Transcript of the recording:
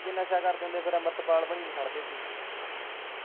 ਜੇ ਨਸਾ ਕਰਦੇ ਹੁੰਦੇ ਫਿਰ ਅੰਮ੍ਰਿਤਪਾਲ ਬਣੀ ਖੜਦੇ ਸੀ।